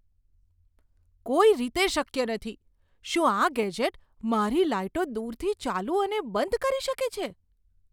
કોઈ રીતે શક્ય નથી! શું આ ગેજેટ મારી લાઈટો દૂરથી ચાલુ અને બંધ કરી શકે છે?